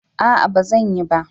A'a ba zan yi ba